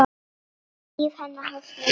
Líf hennar hófst með látum.